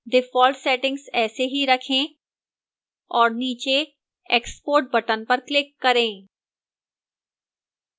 default settings ऐसे ही रखें और नीचे export button पर click करें